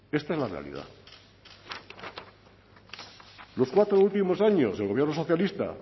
esta es la realidad los cuatro últimos años el gobierno socialista